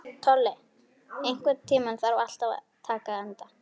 Tolli, einhvern tímann þarf allt að taka enda.